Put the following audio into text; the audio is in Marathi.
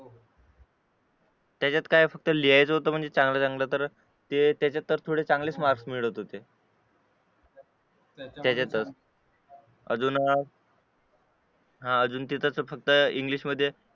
त्याच्यात काय फक्त लिहायचं होतं म्हणजे चांगलं चांगलं तर ते त्याच्यात तर थोडे चांगलेच मार्क मिळत होते तिच्यातच अजून म्हणजे फक्त इंग्लिश मध्ये